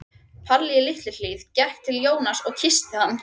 Palli í Litlu-Hlíð gekk til Jóns og kyssti hann.